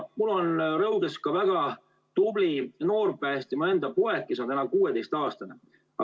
Mul on Rõuges väga tubli noor päästja, mu enda poeg, kes on 16‑aastane.